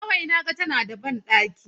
Kawai na ga tana a banɗaki.